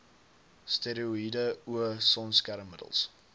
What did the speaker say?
steroïede o sonskermmiddels